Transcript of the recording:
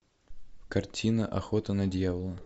картина охота на дьявола